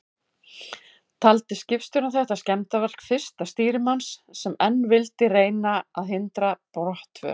Taldi skipstjórinn þetta skemmdarverk fyrsta stýrimanns, sem enn vildi reyna að hindra brottför.